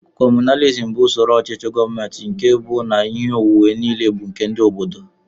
Communizim bụ usoro ochichi gọọmenti nkè bú na ihe onwunwe niile bu nke ndị obodo.